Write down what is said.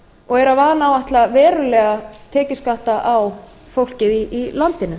og er að vanáætla verulega tekjuskatta á fólkið í landinu